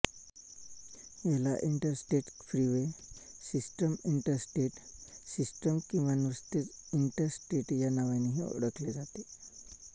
याला interstate freeway system interstate system किंवा नुसतेच इंटरस्टेट या नावांनेही ओळखले जाते